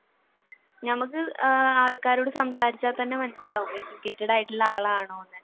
ഞമ്മക്ക് ആൾക്കാരോട് സംസാരിച്ചാൽ തന്നെ മനസിലാവൂലെ educated ആയിട്ടുള്ള ആളാണോ